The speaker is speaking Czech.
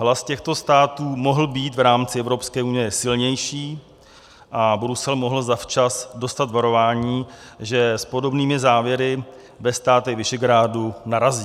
Hlas těchto států mohl být v rámci Evropské unie silnější a Brusel mohl zavčas dostat varování, že s podobnými záměry ve státech Visegrádu narazí.